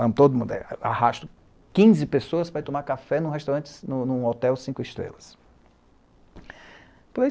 Vamos todo mundo. Arrasto quinze pessoas para ir tomar café num hotel cinco estrelas.